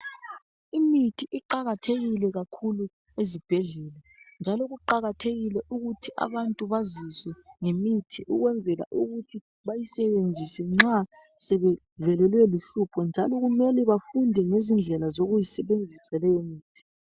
Imithi iqakathekile kakhulu ezibhedlela njalo kuqakathekile ukuthi abantu baziswe ngemithi ukwenzela ukuthi bayisebenzise nxa sebevelelwe luhlupho njalo kumele bafunde ngezindlela zokuyisebenzisa leyimithi.